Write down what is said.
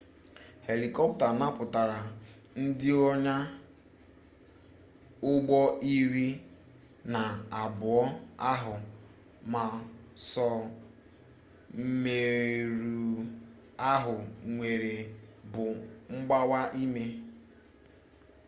helịkọpta napụtara ndị onya ụgbọ iri na abụọ ahụ ma sọ mmerụ ahụ enwere bụ mgbawa imi